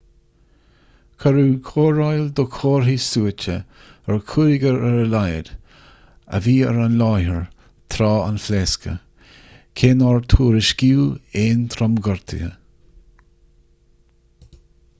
cuireadh cóireáil do chomharthaí suaite ar chúigear ar a laghad a bhí ar an láthair tráth an phléasctha cé nár tuairiscíodh aon tromghortuithe